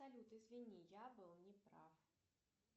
салют извини я был не прав